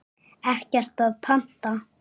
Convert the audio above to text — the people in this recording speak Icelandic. Ekkert að panta.